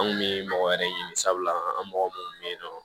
An kun mi mɔgɔ wɛrɛ ɲini sabula an mɔgɔ munnu be yen nɔ